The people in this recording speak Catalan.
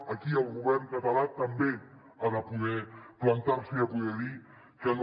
aquí el govern català també ha de poder plantar se i ha de poder dir que no